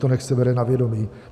To nechť se bere na vědomí."